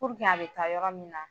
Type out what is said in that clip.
Puruke a bɛ taa yɔrɔ min na